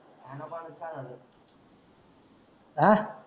आ